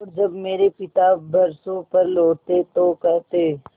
और जब मेरे पिता बरसों पर लौटते तो कहते